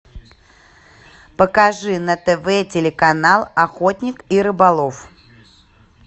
покажи на тв телеканал охотник и рыболов